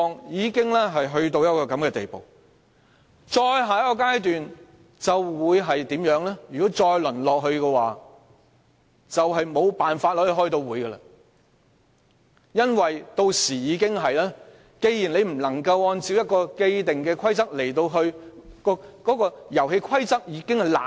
如果議會繼續淪落，便無法開會了，因為屆時已無法按照既定的規則......因為遊戲規則已腐爛。